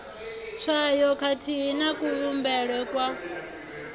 tswayo khathihi na kuvhumbelwe kwa